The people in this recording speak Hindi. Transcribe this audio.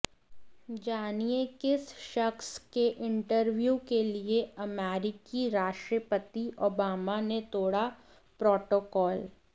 जानिए किस शख्स के इंटरव्यू के लिए अमेरिकी राष्ट्रपति ओबामा ने तोड़ा प्रोटोकाल